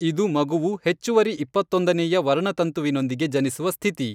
ಇದು ಮಗುವು ಹೆಚ್ಚುವರಿ ಇಪ್ಪತ್ತೊಂದನೇಯ ವರ್ಣತಂತುವಿನೊಂದಿಗೆ ಜನಿಸುವ ಸ್ಥಿತಿ .